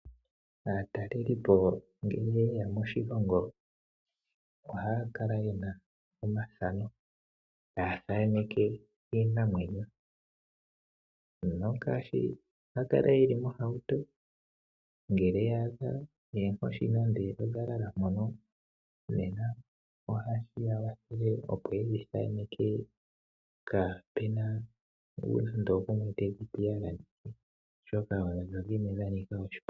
Aatalelipo ngele ye ya moshilongo, oha ya kala yena omathano ta ya thaneke iinamwenyo. Oha ya kala ye li mohauto, ngele ya adha erngoshi nando odha lala mpono oha ya thikana opo ye dhi thaneke kaapena nando ogumwe te yi gumu oshoka odho dhimwe dha nika oshiponga.